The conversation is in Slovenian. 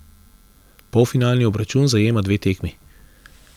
Polfinalni obračun zajema dve tekmi!